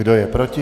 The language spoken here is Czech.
Kdo je proti?